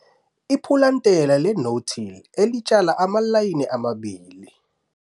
Photo 1- Ipulantela le'no-till' elitshala amalayini amabili.